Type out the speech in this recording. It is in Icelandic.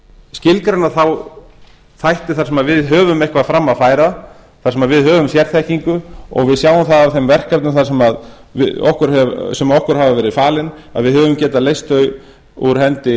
skilgreina þá þætti þar sem við höfum eitthvað fram að færa þar sem við höfum sérþekkingu og við sjáum það á þeim verkefnum sem okkur hafa verið falin að við höfum getað leyst þau af hendi